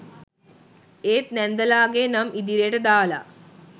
ඒත් නැන්දලාගෙ නම් ඉදිරියට දාලා